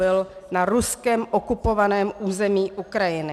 Byl na Ruskem okupovaném území Ukrajiny.